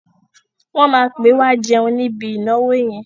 Wọ́n máa pè wá jẹun níbi ìnáwó yẹn.